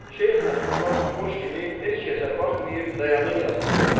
Şeyx Nəsrullah naxoş kimi heç kəsə baxmayıb dayanır yastıqlara.